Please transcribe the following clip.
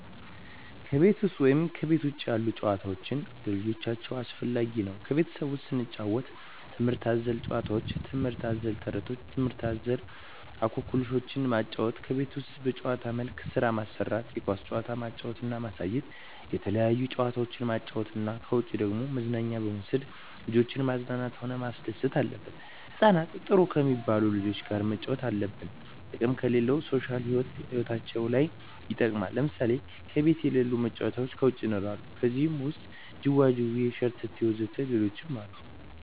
ከቤት ውሰጥ ወይም ከቤት ውጭ ያሉ ጭዋታዎች ለልጆቻቸው አስፈላጊ ነው ከቤት ውስጥ ስንጫወት ትምህርት አዘል ጫውውቶች ትምህርት አዘል ተረቶች ትምህርት አዘል እኮክልሾችን ማጫወት ከቤት ውስጥ በጭዋታ መልክ ስራ ማሰራት የኳስ ጭዋታ ማጫወት እና ማሳየት የተለያየ ጭዋታ ማጫወት ነው ከውጭ ደግሞ መዝናኛ በመውሰድ ልጆችን ማዝናናት ሆነ ማስደሰት አለብን ህጻናትን ጥሩ ከሜባሉ ልጆች ጋር ማጫወት አለብን ጥቅሙም ለሌላ ሦሻል ህይወታቸው ለይ ይጠቅማል ለምሳሌ ከቤት የለሉ መጫወቻ ከውጭ ይኖራሉ ከዜህ ውሰጥ ጅዋጅዌ ሸረተቴ ወዘተ ሌሎችም አሉ